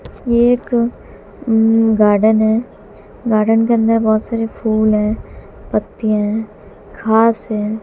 ये एक गार्डन है गार्डन के अंदर बोहोत सारे फूल है पत्तियां हैं घास हैं।